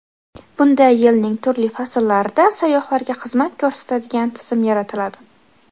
Bunda yilning turli fasllarida sayyohlarga xizmat ko‘rsatadigan tizim yaratiladi.